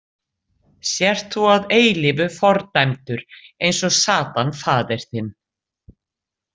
Sért þú að eilífu fordæmdur eins og Satan faðir þinn.